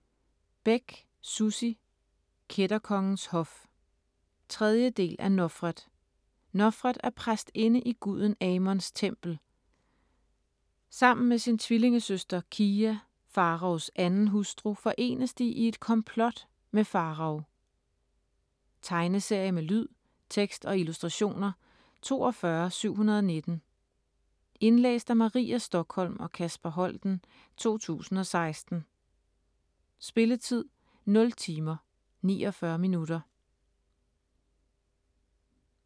Bech, Sussi: Kætterkongens hof 3. del af Nofret. Nofret er præstinde i guden Amos' tempel. Sammen med sin tvillingesøster Kiya, Farao's andenhustru, forenes de i et komplot med Farao. Tegneserie med lyd, tekst og illustrationer 42719 Indlæst af Maria Stokholm og Kasper Holten, 2016. Spilletid: 0 timer, 49 minutter.